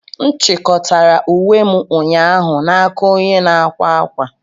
M chịkọtara uwe m ụnyaahụ n'aka onye na-akwa akwa.